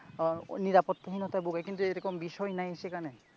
আহ নিরাপত্তাহীনতায় ভোগে এরকম বিষয় নাই সেখানে ।